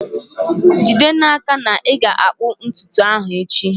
jide n'aka na ị ga-akpụ ntutu ahụ echi!